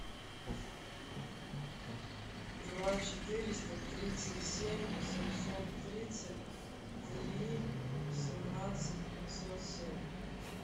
два четыреста тридцать семь семьсот тридцать три семнадцать пятьсот семь